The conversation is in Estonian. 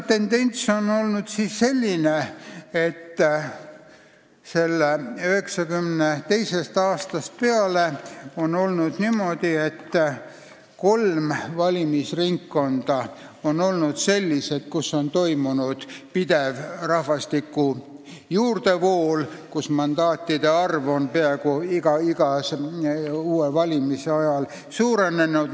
Tendents on 1992. aastast peale olnud selline, et kolme valimisringkonda on toimunud pidev inimeste juurdevool ja mandaatide arv on seal peaaegu iga kord valimiste ajal suurenenud.